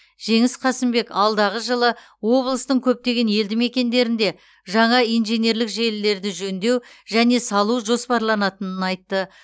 жеңіс қасымбек алдағы жылы облыстың көптеген елді мекендерінде жаңа инженерлік желілерді жөндеу және салу жоспарланатынын айтты